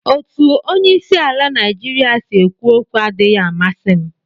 Otu onye isi ala Naijiria si ekwu okwu adịghị amasị m